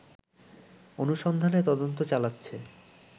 অনুসন্ধানে তদন্ত চালাচ্ছে